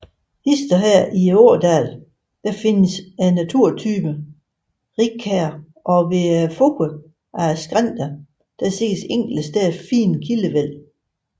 Hist og her i ådalen findes naturtypen rigkær og ved foden af skrænterne ses enkelte steder fine kildevæld